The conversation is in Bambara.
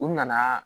U nana